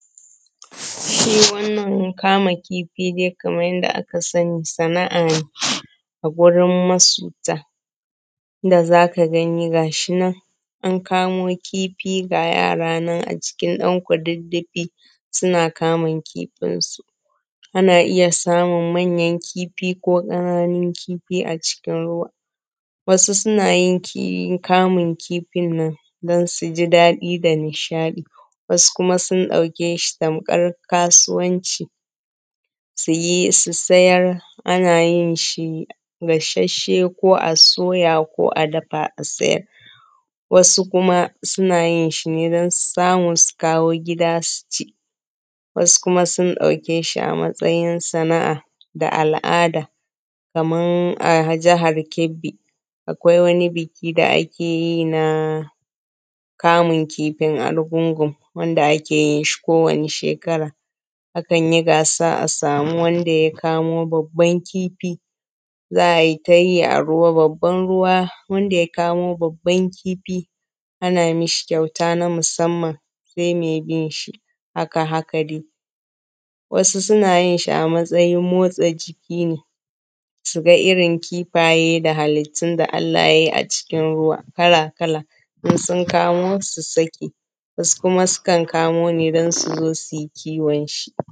Shi wannan kama kifi dai kaman yanda aka sani sana’a ne a a gurin masunta inda zaka gani gashi nan an kamo kifi, ga yara nan a cikin ɗan kududufi suna kamun kifinsu, ana iya samun manyan kifi ko ƙananun kifi a cikin ruwa. Wasu suna yin kamun kifin nan don su ji daɗi da nishaɗi, wasu kuma sun ɗauke shi tamka kasuwanci, su yi su sayar. Ana yin shi gashashhe ko a soya ko a dafa a sayar, wasu kuma suna yin shi ne don samun su kawo gida su ci, wasu kuma sun ɗauke shi a matsayin sana’a da al’ada kaman a jahar Kebbi akwai wani biki da ake yi na kamun kifin argungun wanda ake yin shi kowani shekara, akan yi gasa a samu wanda ya kamo babban kifi, za ai ta yi a ruwa, babban ruwa wanda ya kamo babban kifi ana mishi kyauta na musamman sai mai binshi haka-haka dai. Wasu suna yin shi a matsayin motsa jiki ne, suga irin kifaye da halittun da Allah ya yi a cikin ruwa kala-kala in sun Kano su saki, wasu kuma sukan kamo ne don su zo su kiwon shi.